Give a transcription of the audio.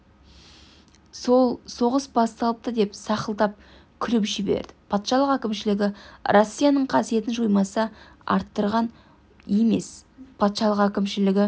сол соғыс басталыпты деп сақылдап күліп жіберді патшалық әкімшілігі россияның қасиетін жоймаса арттырған емес патшалық әкімшілігі